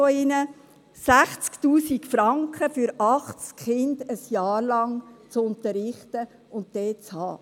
Es sind 60 000 Franken, um 80 Kinder während eines Jahrs zu unterrichten und dort zu haben.